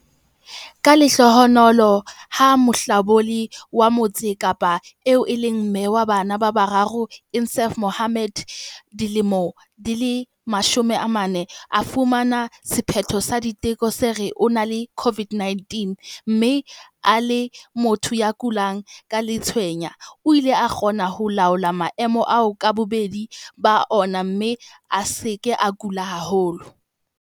Ka lehlohonolo, ha mohlabolli wa Motse Kapa eo e leng mme wa bana ba bararo Insaaf Mohammed, 40, a fumana sephetho sa diteko se re o na le COVID-19 mme e le motho ya kulang ke letshweya, o ile a kgona ho laola maemo ao ka bobedi ba ona mme a se ke a kula haholo.